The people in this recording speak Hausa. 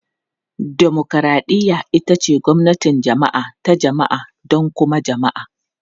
Dimokuraɗiyya ita ce gwamnatin jama'a ta jama'a don kuma jama'a.